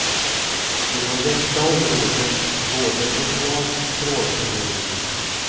Inom detta området råder totalt trålförbud.